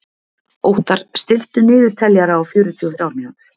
Óttar, stilltu niðurteljara á fjörutíu og þrjár mínútur.